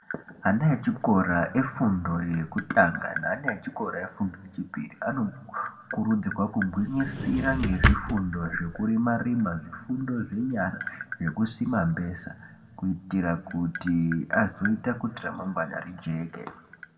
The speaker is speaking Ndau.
Ana echikora efundo yekutanga ne ana echikora efundo echipiri ano kurudzirwa kugwinyisira ngezvifundo zvekurima rima ,zvifundo zvenyara zvekusima mbesa kuitira kuti azoitakuti ramangwana rijeke.